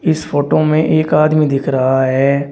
इस फोटो में एक आदमी दिख रहा है।